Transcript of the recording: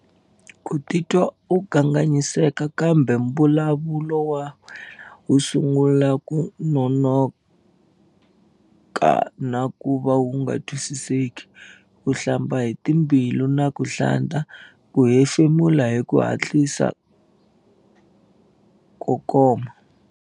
Ku titwa u kanganyiseka kumbe mbulavulo wa wena wu sungula ku nonoka na ku va wu nga twi-siseki. Ku hlamba hi timbilu na ku hlanta. Ku hefemula hi ku hatlisa ko koma.